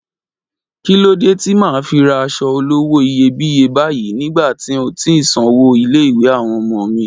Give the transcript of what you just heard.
Kí lódé tí màá fi ra aṣọ olówó iyebíye báyìí nígbà tí ń ò tíì sanwó ilé-ìwé àwọn ọmọ mi?